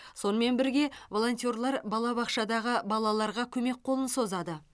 сонымен бірге волонтерлар балабақшадағы балаларға көмек қолын созады